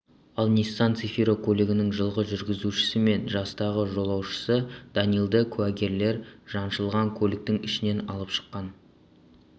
ал ниссан цефиро көлігінің жылғы жүргізушісі мен жастағы жолаушысы данилды куәгерлер жаншылған көліктің ішінен алып шыққан